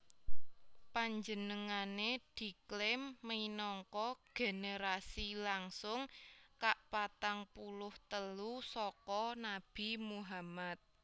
Panjenengané diklaim minangka generasi langsung kapatang puluh telu saka Nabi Muhammad